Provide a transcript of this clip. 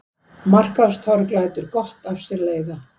Markaðstorg lætur gott af sér leiða